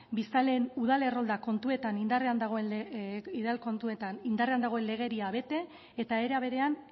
biztanleen udal errolda kontuetan indarrean dagoen legedia bete eta era berean